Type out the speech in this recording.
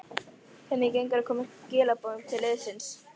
Hvernig gengur að koma skilaboðum til liðsins?